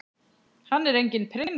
Hann er enginn prins.